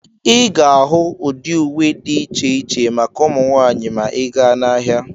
Ị ga-ahụ ụdị uwe dị iche iche maka ụmụ nwaanyị ma ị gaa n'ahịa.